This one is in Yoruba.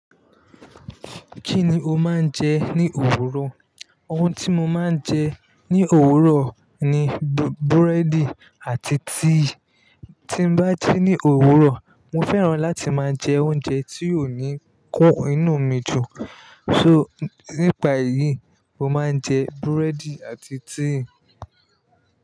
Kí ni o máa ń jẹ ní òwúrò? Ohun tí mo máa ń jẹ ní òwúrò ni búrẹ́dì àti tea. Tí bá ji ní òwúrò, mo fẹ́ràn láti máa jẹ oúnjẹ tí yóò ní kun inú mi jù. So, nípa èyí, mo máa ń jẹ búrẹ́dì àti tea.